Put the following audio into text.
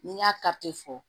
Ni n y'a fɔ